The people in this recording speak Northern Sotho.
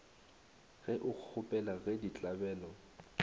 ge o kgopela ge ditlabelo